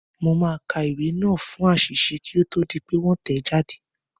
Mo máa ka ìwé náà wò fún àṣìṣe kí ó tó di pé wọ́n tẹ̀ ẹ́ jáde.